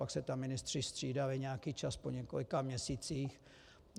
Pak se tam ministři střídali nějaký čas po několika měsících.